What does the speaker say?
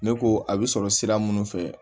Ne ko a bɛ sɔrɔ sira minnu fɛ